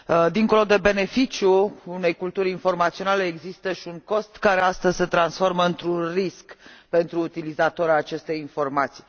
Dincolo de beneficiul unei culturi informaționale, există și un cost, care, astăzi, se transformă într un risc pentru utilizatorii acestei informații.